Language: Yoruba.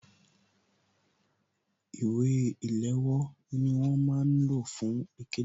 Ìwé ìléwọ́ ni wọ́n máa ń lò fún ikede